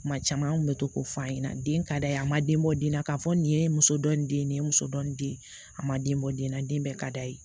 Kuma caman an kun bɛ to k'o f'a ɲɛna den ka d'a ye a ma den bɔ den na k'a fɔ nin ye muso dɔ nin den ye nin ye muso dɔ nin den a ma den bɔ den na den bɛɛ ka d'a ye